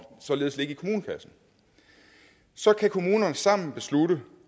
således ligge i kommunekassen så kan kommunerne sammen beslutte